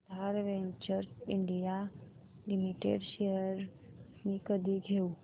आधार ventures India limited shares मी कधी घेऊ